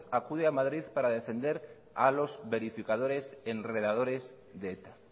acude a madrid para defender a los verificadores enredadores de eta